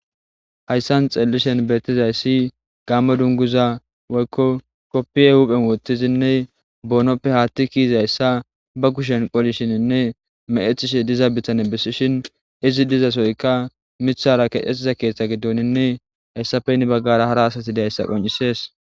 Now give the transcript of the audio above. Haysan xeelishin beetizaysi gamo dunguza woyko kopiya hu'en wothidi ne boonoppe haathey kezizaysa be kushen qolishininne mecetishe dizaysa ha bitaney besishin izi dizasoyka mitha lanqe keetha gidoni me hessappe heni bagara hara asi dizaysa qonc'isses.